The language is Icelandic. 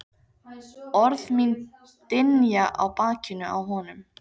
Orð mín dynja á bakinu á honum.